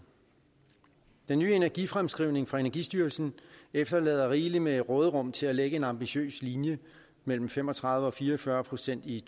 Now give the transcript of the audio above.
den nye energifremskrivning fra energistyrelsen efterlader rigeligt med råderum til at lægge en ambitiøs linje mellem fem og tredive procent og fire og fyrre procent i